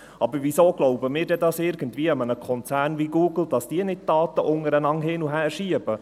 Aber weshalb glauben wir dann einem Konzern wie Google, dass er nicht Daten hin und her schieben?